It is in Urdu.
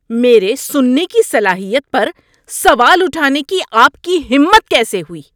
میرے سننے کی صلاحیت پر سوال اٹھانے کی آپ کی ہمت کیسے ہوئی؟